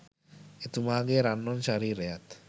එතුමාගේ රන්වන් ශරීරයත්